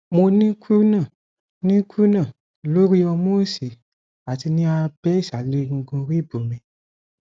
mo ní krúnà ní krúnà lórí ọmú òsì àti ní abẹ ìsàlẹ egungun ríìbù mi